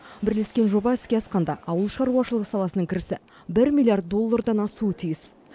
бірлескен жоба іске асқанда ауыл шаруашылығы саласының кірісі бір миллиард доллардан асуы тиіс